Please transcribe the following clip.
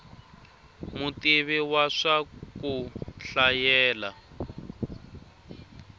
mutivi wa swa ku hlayela